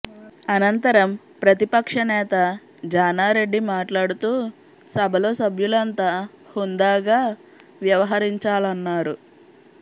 అనంతరం ప్రతిపక్షనేత జానా రెడ్డి మాట్లాడుతూ సభలో సభ్యులంతా హుందాగా వ్యవహరించాలన్నారు